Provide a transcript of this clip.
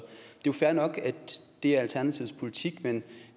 jo fair nok at det er alternativets politik men